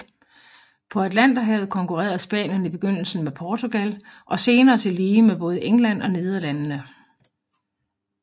På Atlanterhavet konkurrerede Spanien i begyndelsen med med Portugal og senere tillige med både England og Nederlandene